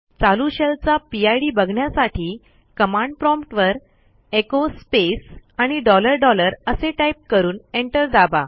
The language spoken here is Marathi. चालू शेलचा पिड बघण्यासाठी कमांड प्रॉम्प्ट वरecho स्पेस आणि डॉलर डॉलर असे टाईप करून एंटर दाबा